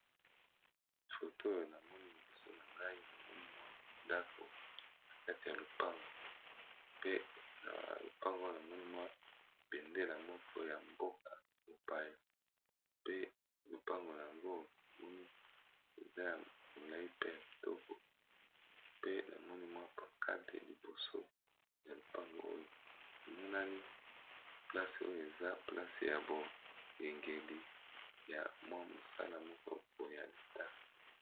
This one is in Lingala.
Photo oyo na moni liboso na ngai na moni mwa dako na kati ya lopango pe na lopango namonimwa bendela moko ya mboka mopaye, pe lopango yango namoni eza ya molai per kitoko pe na moni mwa pankate liboso ya lopango oyo emonani place oyo eza place ya boyangeli ya mwa mosala moko oya lita.